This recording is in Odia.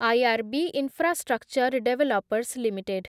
IRB infrastructure developers limited